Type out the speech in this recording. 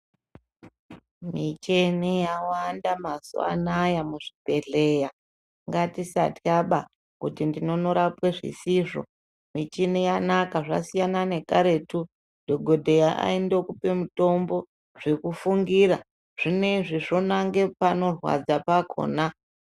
Micheni yawanda mazuva anaya muzvibhedhlera ngatisatwaba kuti ndinonorapwa zvisizvo. Michini yanaka zvasiyana nekaretu dhogodheya aindokupe mutombo zvekufungira zvineizvi zvonange panorwadza pakona.